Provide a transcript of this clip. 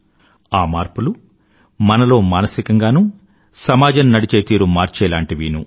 ఆ మార్పులు మనలో మానసికంగానూ సమాజం నడిచే తీరు మార్చేలాంటివీనూ